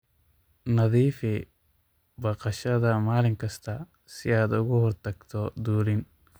Nadiifi baqashada maalin kasta si aad uga hortagto dulin.